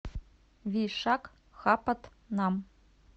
вишакхапатнам